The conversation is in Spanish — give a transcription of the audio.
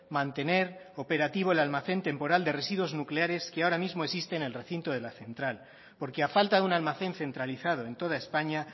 mantener operativo el almacén temporal de residuos nucleares que ahora mismo existe en el recinto de la central porque a falta de un almacén centralizado en toda españa